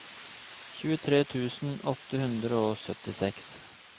tjuetre tusen åtte hundre og syttiseks